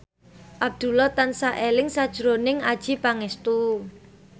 Abdullah tansah eling sakjroning Adjie Pangestu